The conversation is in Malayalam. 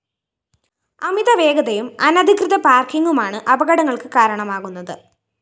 അമിതവേഗതയും അനധികൃത പാര്‍ക്കിംങുമാണ് അപകടള്‍ക്ക് കാരണമാകുന്നത്